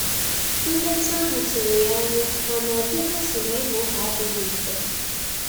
Nleta ahụ tụrụ ya anya, mana ọgwugwọ si na Ịgha ụgha adighi mfe.